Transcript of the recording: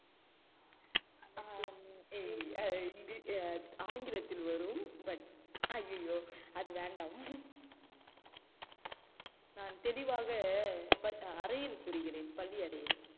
ஆஹ் ஹம் ஏய் eng~ ஆங்கிலத்தில் வரும் but அய்யய்யோ அது வேண்டாம் நான் தெளிவாக ப~ அறையில் கூறுகிறேன் பள்ளியறையில்